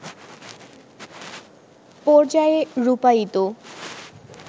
পর্যায়ে রূপায়িত